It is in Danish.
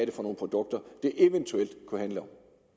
er for nogle produkter det eventuelt kunne handle